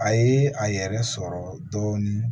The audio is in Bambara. A ye a yɛrɛ sɔrɔ dɔɔnin